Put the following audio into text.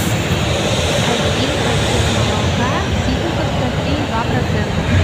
один пакет молока ситниковское три и два процента